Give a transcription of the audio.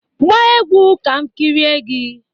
Gbaa egwu ka m kirie gị!